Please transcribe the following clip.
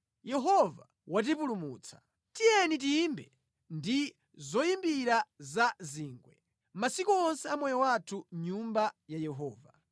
Yehova watipulumutsa. Tiyeni tiyimbe ndi zoyimbira za zingwe masiku onse a moyo wathu mʼNyumba ya Yehova.